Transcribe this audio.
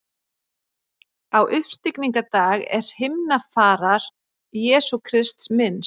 Á uppstigningardag er himnafarar Jesú Krists minnst.